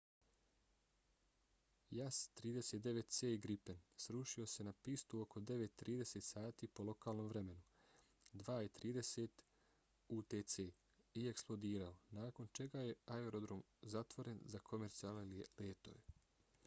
jas 39c gripen srušio se na pistu oko 9:30 sati po lokalnom vremenu 02:30 utc i eksplodirao nakon čega je aerodrom zatvoren za komercijalne letove